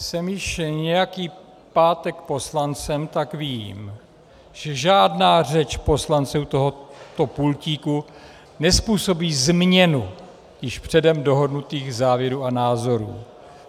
Jsem již nějaký pátek poslancem, tak vím, že žádná řeč poslance u tohoto pultíku nezpůsobí změnu již předem dohodnutých závěrů a názorů.